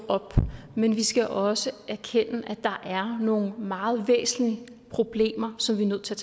op men vi skal også erkende at der er nogle meget væsentlige problemer som vi er nødt til